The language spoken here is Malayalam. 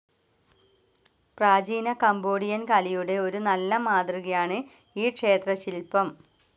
പ്രാചീന കംബോഡിയൻ കലയുടെ ഒരു നല്ല മാതൃകയാണ് ഈ ക്ഷേത്രശിൽപ്പം.